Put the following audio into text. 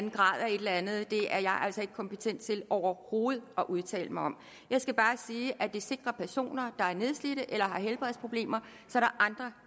et eller andet det er jeg ikke kompetent til overhovedet at udtale mig om jeg skal bare sige at det sikrer personer der er nedslidte eller har helbredsproblemer